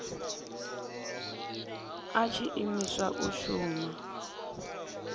a tshi imiswa u shuma